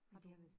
Har du